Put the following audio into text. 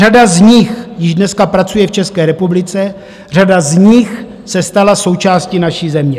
Řada z nich již dneska pracuje v České republice, řada z nich se stala součástí naší země.